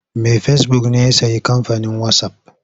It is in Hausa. Mai fesibuk ne ya sayi kamfanin wasaf.